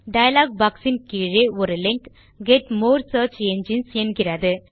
dialogue Boxஇன் கீழே ஒரு link get more search engines என்கிறது